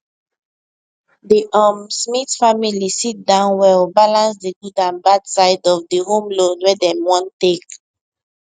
the um smith family sit down well balance the good and bad side of the home loan wey dem wan take